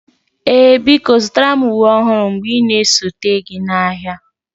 Ee biko zụtara m uwe ọhụrụ mgbe ị na-esote gị n'ahịa